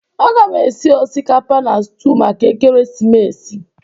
Aga m esi osikapa na stuụ maka ekeresimesi.